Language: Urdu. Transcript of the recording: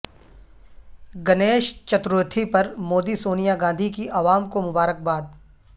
گنیش چتورتھی پر مودی سونیا گاندھی کی عوام کو مبارکباد